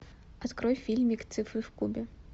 открой фильмик цифры в кубе